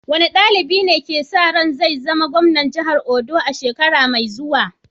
Wane dalibi ne ake sa ran zai zama gwamnan jihar Ondo a shekara mai zuwa?